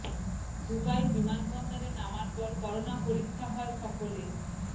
Dubai বিমান বন্দরে নামার পর করোনা পরীক্ষা হয় সকলের